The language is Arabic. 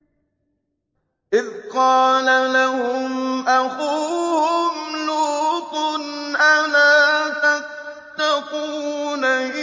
إِذْ قَالَ لَهُمْ أَخُوهُمْ لُوطٌ أَلَا تَتَّقُونَ